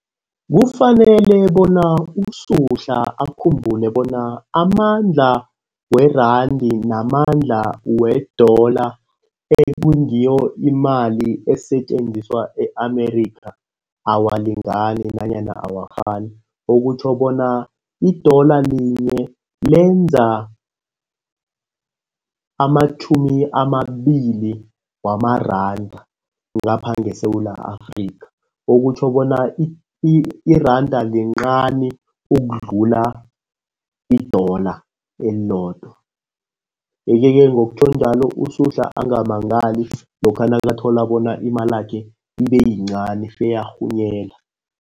Kufanele bona uSuhla akhumbule bona amandla weranda namandla wedola ekungiyo imali esisetjenziswa e-America awalingani nanyana awafani. Okutjho bona idola linye lenza amatjhumi amabili wamaranda ngapha ngeSewula Afrika. Okutjho bona iranda lincani ukudlula idola elilodwa. Yeke-ke ngokutjho njalo uSuhla angamangali lokha nakathola bona imalakhe ibeyincani feyarhunyela.